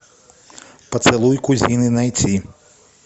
поцелуй кузины найти